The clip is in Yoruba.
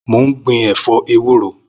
Mó n gbin ẹfọ éwùró